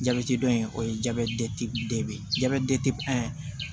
Jabɛti dɔ in o ye jabɛti